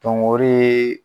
o dee